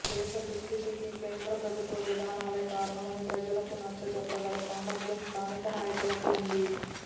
దేశదుస్థితికి కేంద్రప్రభుత్వ విధానాలే కారణమని ప్రజలకు నచ్చ చెప్పగల సామర్థ్యం స్థానిక నాయకులకు ఉంది